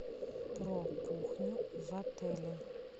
про кухню в отеле